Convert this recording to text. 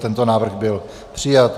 Tento návrh byl přijat.